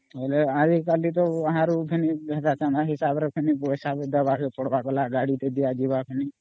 ବେଲେ ଆଜି କାଲି ତ ଅମ୍ବ ସିବା ଗାଡି ଟେ ଦିଅ ଯିବା ହେବ ଫେନି